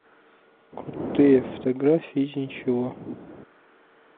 крутые фотографии из ничего